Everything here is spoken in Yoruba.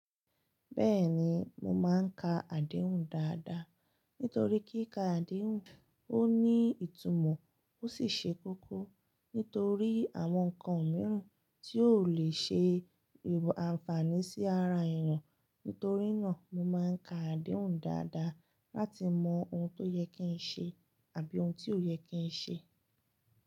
Bẹ́ẹ̀ni, mo máa ń ka àdéhùn dáadáa. Nítorí kí ka àdéhùn, ó ní ìtumọ̀ ó sì ṣe kókó. Nítorí àwọn nǹkan mìíràn tí ó le ṣe ìbò àǹfààní sí ara èèyàn. Nítorí náà, mo máa ń ka àdéhùn dáadáa láti mọ ohun tó yẹ kí n ṣe àbí ohun tí ó yẹ kí n ṣe.